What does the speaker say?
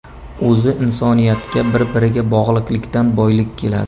O‘zi insoniyatga bir-biriga bog‘liqlikdan boylik keladi.